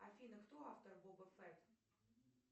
афина кто автор боба фетт